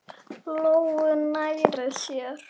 Lóu nærri sér.